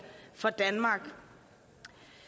for danmark